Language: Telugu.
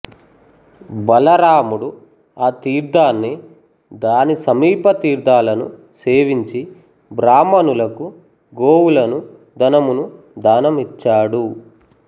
బలరాముడు ఆతీర్ధాన్ని దాని సమీపతీర్ధాలను సేవించి బ్రాహ్మణులకు గోవులను ధనమును దానం ఇచ్చాడు